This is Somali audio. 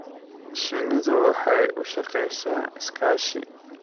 Shinnidu waxay u shaqeysaa iskaashi.